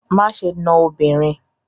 Má ṣe na obìnrin!